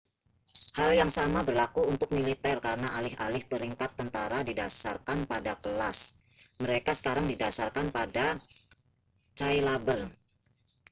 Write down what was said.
hal yang sama berlaku untuk militer karena alih-alih peringkat tentara didasarkan pada kelas mereka sekarang didasarkan pada cailaber